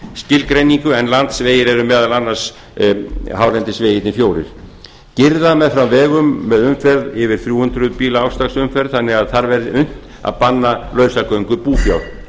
skilgreiningu en landsvegir eru meðal annars hálendisvegirnir fjórir girða meðfram vegum með umferð yfir þrjú hundruð bíla ársdagsumferð þannig að þar verði unnt að banna lausagöngu búfjár